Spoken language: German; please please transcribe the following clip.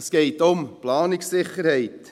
– Es geht um Planungssicherheit.